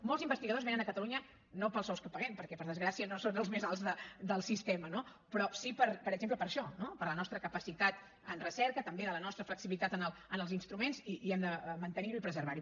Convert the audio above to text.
molts investigadors venen a catalunya no pels sous que paguem perquè per desgràcia no són els més alts del sistema però sí per exemple per això no per la nostra capacitat en recerca també per la nostra flexibilitat en els instruments i hem de mantenir ho i preservar ho